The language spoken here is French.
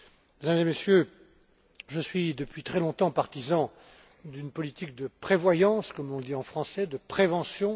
Mesdames et messieurs les députés, je suis, depuis très longtemps, partisan d'une politique de prévoyance, comme on dit en français, de prévention